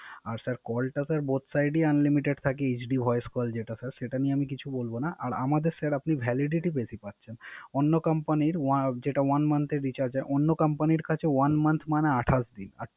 আর Call টা sir both side Unlimited থাকে HD Voce call যেটা Sir সেটা নিয়ে আমি কিছু বলবো না। আর আমাদের Sir আপনি Validity বেশি পাচ্ছেন। অন্য কোম্পানির কাছে One month মানে আটাশ দিন